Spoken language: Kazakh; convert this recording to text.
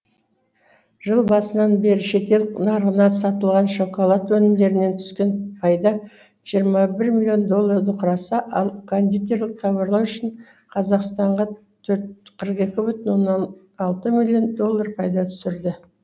жыл басынан бері шетел нарығына сатылған шоколад өнімдерінен түскен пайда жиырма бір миллион долларды құраса ал кондитерлік тауарлар үшін қазақстанға қырық екі бүтін оннан алты миллион доллар пайда түсірді